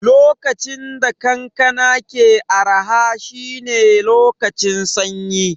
Lokacin da kankana ke araha shine lokacin sanyi